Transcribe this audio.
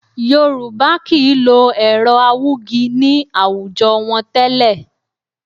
Yorùbá kì í lo ẹ̀rọ awúgi ní àwùjọ wọn tẹ́lẹ̀